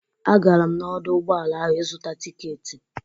Agara m n'ọdọ ụgbọala ahụ ịzụta tiketi.